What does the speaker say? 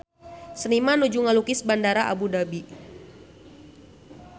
Seniman nuju ngalukis Bandara Abu Dhabi